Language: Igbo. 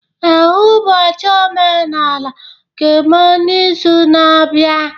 Ee, ụbọchị omenala ga-eme n'izu na-abịa